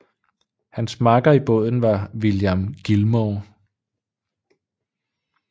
Hans makker i båden var William Gilmore